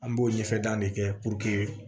An b'o ɲɛfɛ dan de kɛ